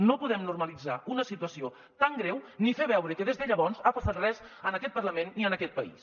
no podem normalitzar una situació tan greu ni fer veure que des de llavors ha passat res en aquest parlament ni en aquest país